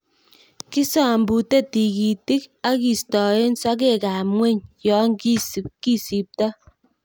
Kisombute tikitik ak kistoen sokekab ngweny yon kisipto.